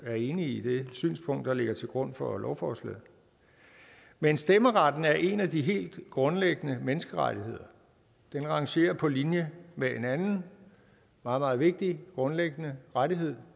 er enige i det synspunkt der ligger til grund for lovforslaget men stemmeretten er en af de helt grundlæggende menneskerettigheder den rangerer fuldstændig på linje med en anden meget meget vigtig og grundlæggende rettighed